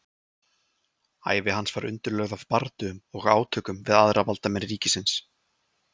ævi hans var undirlögð af bardögum og átökum við aðra valdamenn ríkisins